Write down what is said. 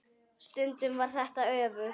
Stundum var þetta öfugt.